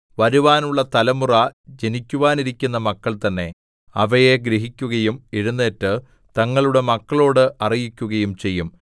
വരുവാനുള്ള തലമുറ ജനിക്കുവാനിരിക്കുന്ന മക്കൾതന്നെ അവയെ ഗ്രഹിക്കുകയും എഴുന്നേറ്റ് തങ്ങളുടെ മക്കളോട് അറിയിക്കുകയും ചെയ്യും